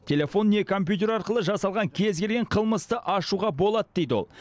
телефон не компьютер арқылы жасалған кез келген қылмысты ашуға болады дейді ол